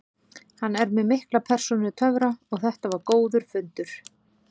Hann er með mikla persónutöfra og þetta var góður fundur.